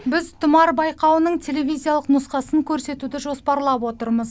біз тұмар байқауының телевизиялық нұсқасын көрсетуді жоспарлап отырмыз